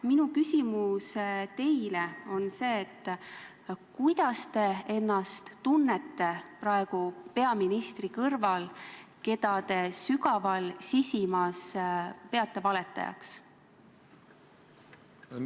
Minu küsimus teile on see: kuidas te ennast tunnete praegu peaministri kõrval, keda te sügaval sisimas peate valetajaks?